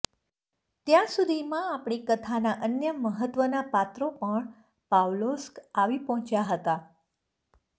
ત્યાં સુધીમાં આપણી કથાનાં અન્ય મહત્ત્વનાં પાત્રો પણ પાવલોસ્ક આવી પહોંચ્યાં હતા